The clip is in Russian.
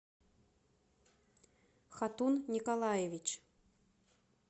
хатун николаевич